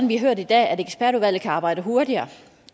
vi har hørt i dag at ekspertudvalget kan arbejde hurtigere